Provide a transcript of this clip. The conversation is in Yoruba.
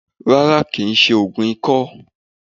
Rárá kìí se ògùn ikó